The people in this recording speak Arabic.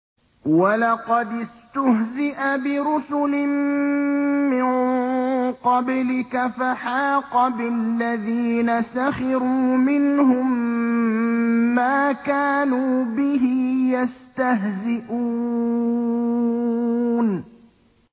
وَلَقَدِ اسْتُهْزِئَ بِرُسُلٍ مِّن قَبْلِكَ فَحَاقَ بِالَّذِينَ سَخِرُوا مِنْهُم مَّا كَانُوا بِهِ يَسْتَهْزِئُونَ